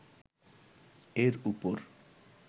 এর উপর